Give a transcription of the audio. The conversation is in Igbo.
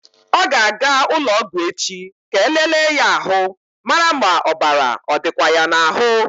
Ọ ga-aga ụlọ ọgwụ echi ka e lelee ya ahụ mara ma ọbara ọ dịkwa ya n'ahụ.